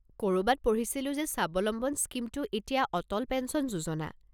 ক'ৰবাত পঢ়িছিলো যে স্বাৱলম্বন স্কীমটো এতিয়া অটল পেঞ্চন যোজনা?